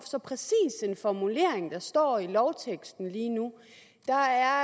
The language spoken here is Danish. så præcis en formulering der står i lovteksten lige nu der er